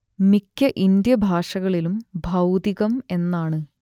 മിക്ക ഇന്ത്യൻ ഭാഷകളിലും ഭൗതികം എന്നാണ്